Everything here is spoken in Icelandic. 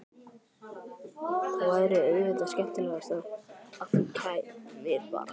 Það væri auðvitað skemmtilegast að þú kæmir bara!